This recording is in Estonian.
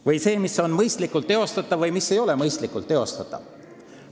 Või mis on mõistlikult teostatav või mis ei ole mõistlikult teostatav?